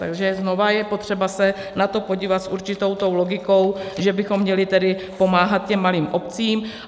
Takže znovu je potřeba se na to podívat s určitou tou logikou, že bychom měli tedy pomáhat těm malým obcím.